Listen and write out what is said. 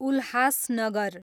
Ulhasnagar